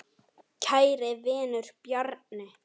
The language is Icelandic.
Kæri vinur, Bjarni.